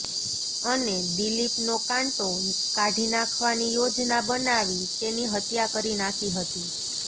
અને દીલીપનો કાંટો કાઢી નાંખવાની યોજના બનાવી તેની હત્યા કરી નાંખી હતી